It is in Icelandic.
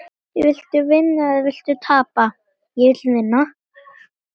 Viltu vinna eða viltu tapa?